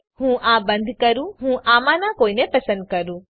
તો ચાલો હું આ બંધ કરું ચાલો હું આમાંના કોઈને પસંદ કરું